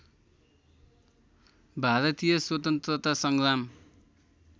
भारतीय स्वतन्त्रता सङ्ग्राम